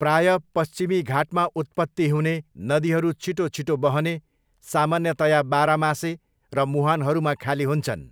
प्रायः पश्चिमी घाटमा उत्पत्ति हुने, नदीहरू छिटो छिटो बहने, सामान्यतया बारमासे र मुहानहरूमा खाली हुन्छन्।